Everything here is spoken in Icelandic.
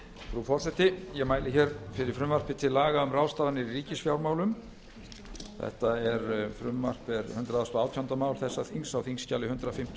frú forseti ég mæli hér fyrir frumvarpi til laga um um ráðstafanir í ríkisfjármálum þetta frumvarp er hundrað og átjándu mál þessa þings á þingskjali hundrað fimmtíu